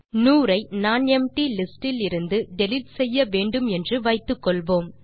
100 ஐ nonempty list டிலிருந்து delete செய்ய வேண்டும் என்று வைத்துக்கொள்வோம்